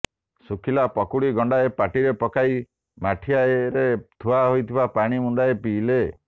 ଶୁଖିଲା ପକୁଡ଼ି ଗଣ୍ଡାଏ ପାଟିରେ ପକାଇ ମାଠିଆରେ ଥୁଆ ହୋଇଥିବା ପାଣି ମୁନ୍ଦାଏ ପିଇଲେ